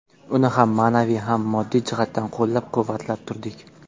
Uni ham ma’naviy, ham moddiy jihatdan qo‘llab-quvvatlab turdik.